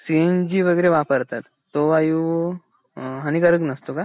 CNG वगैरे वापरतात तो वायू अ हानिकारक नसतो का?